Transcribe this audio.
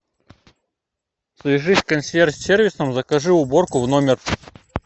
свяжись с консьерж сервисом закажи уборку в номер